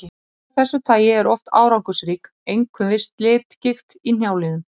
Meðferð af þessu tagi er oft árangursrík, einkum við slitgigt í hnjáliðum.